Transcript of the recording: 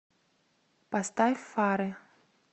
поставь фары